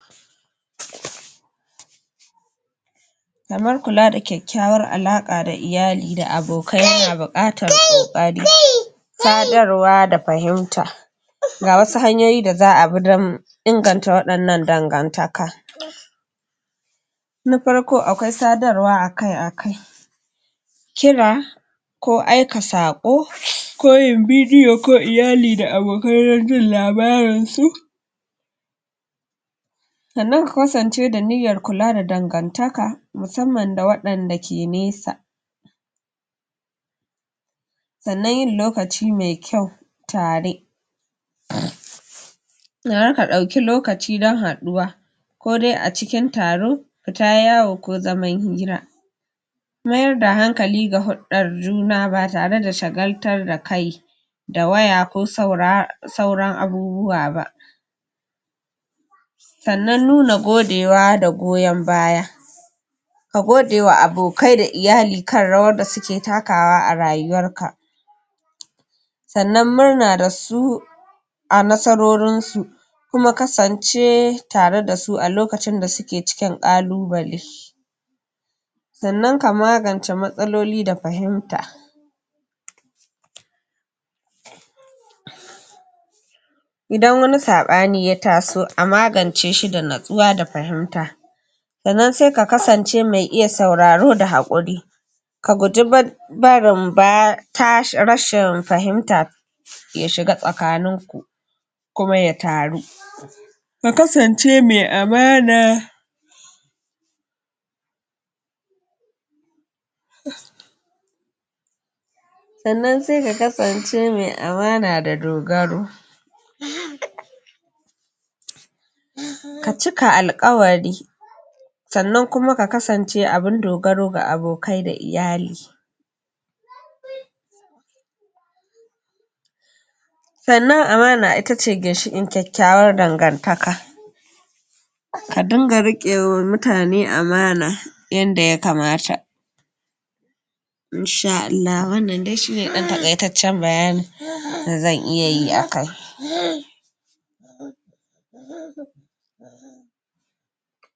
Kamar kula da kyakyawar alaƙa da iyali da abokai yana buƙatar kokari, sadarwa da fahimta. ga wasu hanyoyi da za a bi don inganta waɗannan dangantaka na farko akwai sadarwa akai-akai kira, ko aika saƙo ko yin video ko iyali da abokai don jin labarin su sannan su kasance da niyyar kula da dangantaka musamman na wadanda ke nesa sannan yin lokaci mai kyau tare dauki lokaci don haɗuwa ko dai a cikin taro fita yawo ko zaman hira mayar da hankali ga hurɗar juna ba tareda shagaltar da kai da waya ko sauran abubuwa ba sannan nuna godewa da goyon baya ka gode wa abokai da iyali kan rawar da suke takawa a rayuwar ka sannan murna da su a nasarorin su kuma kasance tare da su a lokacin da suke cikin ƙalubale sannan ka magance matsaloli da fahimta idan wani saɓani ya taso a magance shi da natsuwa da fahimta sannan sai ka kasance mai iya sauraro da haƙuri ka guji barin rashin fahimta ya shiga tsakanin ku kuma ya taru ka kasance mai amana sannan sai ka kasance mai amana da dogaro um ka cika alkawari sannan kuma ka kasance abin dogaro ga abokai da iyali sannan amana itace ginshiƙin kyakyawar dangantaka ka dinga riƙe ma mutane amana yanda ya kamata in sha Allah wannan dai shi ne ɗan takaitaccen bayanin da zan iya yi.